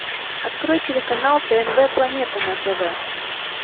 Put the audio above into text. открой телеканал тнв планета на тв